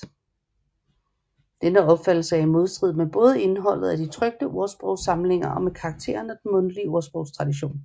Denne opfattelse er i modstrid både med indholdet af de trykte ordsprogssamlinger og med karakteren af den mundtlige ordsprogstradition